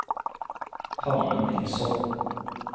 Hanne Nilsson